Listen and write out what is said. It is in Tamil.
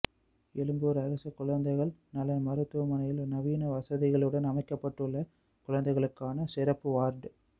எழும்பூர் அரசு குழந்தைகள் நல மருத்துவமனையில் நவீன வசதிகளுடன் அமைக்கப்பட்டுள்ள குழந்தைகளுக்கான சிறப்பு வார்டு